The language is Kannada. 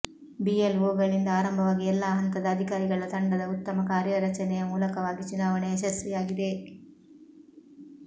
ಬಿಎಲ್ಒಗಳಿಂದ ಆರಂಭವಾಗಿ ಎಲ್ಲ ಹಂತದ ಅಧಿಕಾರಿಗಳ ತಂಡದ ಉತ್ತಮ ಕಾರ್ಯರಚನೆಯ ಮೂಲಕವಾಗಿ ಚುನಾವಣೆ ಯಶಸ್ವಿಯಾಗಿದೆ